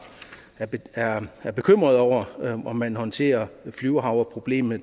er er bekymrede over om man håndterer flyvehavreproblemet